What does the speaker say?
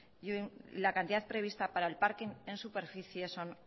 y la cantidad prevista para el parking en superficie son